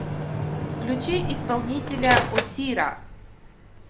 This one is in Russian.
включи исполнителя отира